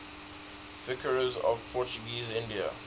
viceroys of portuguese india